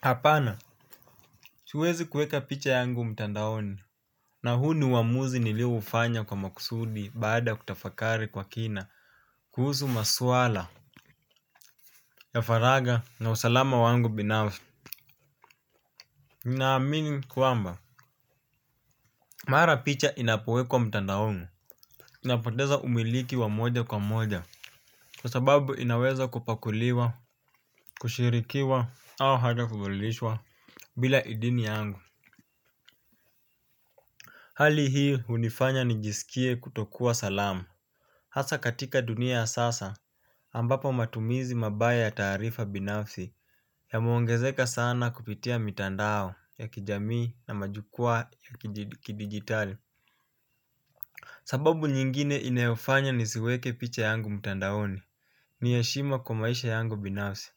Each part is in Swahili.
Hapana siwezi kuweka picha yangu mtandaoni. Na huu ni uamuzi nilioufanya kwa makusudi baada kutafakari kwa kina. Kuhusu maswala ya faraga na usalama wangu binaf ninaamini kwamba mara picha inapowekwa mtandaonu. Napoteza umiliki wa moja kwa moja. Kwa sababu inaweza kupakuliwa. Kushirikiwa au hata kubadilishwa bila idini yangu. Hali hii hunifanya nijisikie kutokua salama. Hasa katika dunia ya sasa ambapo matumizi mabaya ya taarifa binafsi yameongezeka sana kupitia mitandao ya kijamii na majukwaa ya kidigitali. Sababu nyingine ineyofanya nisiweke picha yangu mtandaoni. Ni heshima kwa maisha yangu binafsi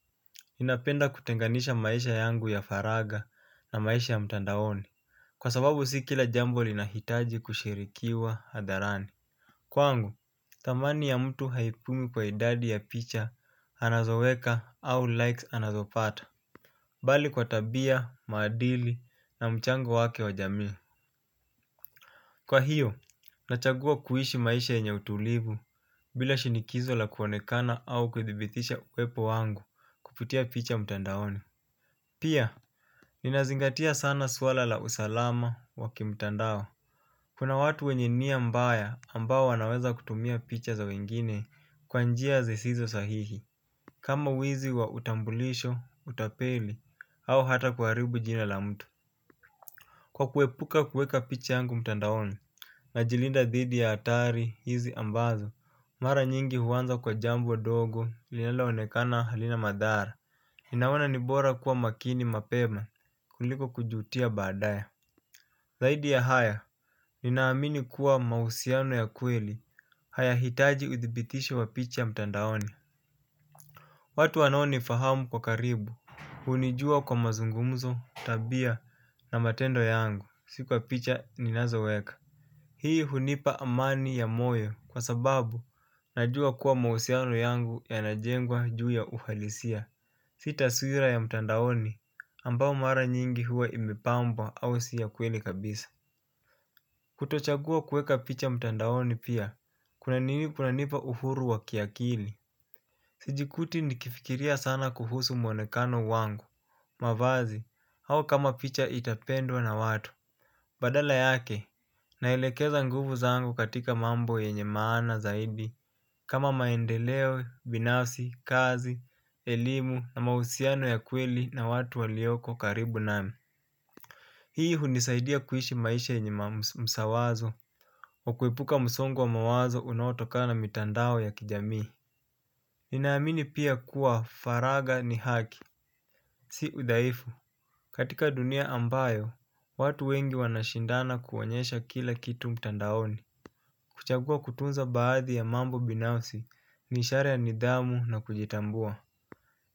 ninapenda kutenganisha maisha yangu ya faraga na maisha ya mtandaoni. Kwa sababu si kila jambo linahitaji kushirikiwa hadharani. Kwangu, thamani ya mtu haipimwi kwa idadi ya picha anazoweka au likes anazopata bali kwa tabia, maadili na mchango wake wa jamii. Kwa hiyo, nachagua kuishi maisha yenye utulivu bila shinikizo la kuonekana au kuthibithisha uwepo wangu kupitia picha mtandaoni. Pia, ninazingatia sana swala la usalama wa kimtandao. Kuna watu wenye niya mbaya ambao wanaweza kutumia picha za wengine kwa njia zisizo sahihi. Kama uwizi wa utambulisho, utapeli au hata kuharibu jina la mtu. Kwa kuepuka kuweka picha yangu mtandaoni najilinda dhidi ya atari hizi ambazo, mara nyingi huanza kwa jambo dogo linalaonekana halina madhara. Ninaona ni bora kuwa makini mapema kuliko kujutia baadaya. Zaidi ya haya, ninaamini kuwa mahusiano ya kweli hayahitaji uthibitisho wa picha mtandaoni. Watu wanao ni fahamu kwa karibu hunijua kwa mazungumzo, tabia na matendo yangu, si kwa picha ninazoweka. Hii hunipa amani ya moyo kwa sababu najua kuwa mahusiano yangu yanajengwa juu ya uhalisia. Si taswira ya mtandaoni ambao mara nyingi huwa imepambwa au si ya kweli kabisa. Kutochagua kuweka picha mtandaoni pia, kunanipa uhuru wa kiakili. Sijikuti nikifikiria sana kuhusu mwonekano wangu. Mavazi, hao kama picha itapendwa na watu. Badala yake, naelekeza nguvu zangu katika mambo yenye maana zaidi kama maendeleo, binasi, kazi, elimu na mahusiano ya kweli na watu walioko karibu nami. Hii hunisaidia kuishi maisha yenye msawazo wa kuepuka msongo wa mawazo unaotokana na mitandao ya kijamii ninaamini pia kuwa faraga ni haki. Si udhaifu. Katika dunia ambayo, watu wengi wanashindana kuonyesha kila kitu mtandaoni. Kuchagua kutunza baadhi ya mambo binafsi ni ishara ya nidhamu na kujitambua.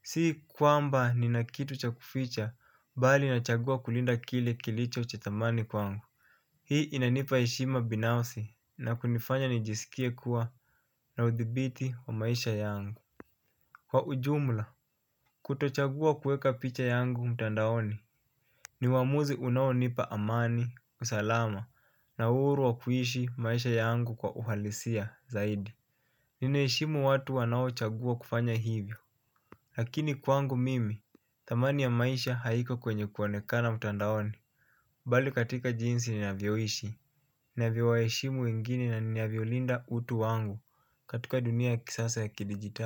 Si kwamba nina kitu cha kuficha bali nachagua kulinda kile kilicho cha thamani kwangu. Hii inanipa heshima binafsi na kunifanya nijisikie kuwa na udhibiti wa maisha yangu. Kwa ujumla, kutochagua kueka picha yangu mtandaoni ni uamuzi unaonipa amani, usalama na uuru wa kuishi maisha yangu kwa uhalisia zaidi. Ninaheshimu watu wanaochagua kufanya hivyo. Lakini kwangu mimi, thamani ya maisha haiko kwenye kuonekana mtandaoni bali katika jinsi ninavyoishi, ninavyowaheshimu wengine na ninavyo linda utu wangu katika dunia ya kisasa ya kidigital.